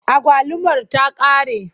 Agwalumar ta ƙare.